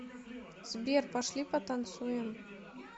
сбер пошли потанцуем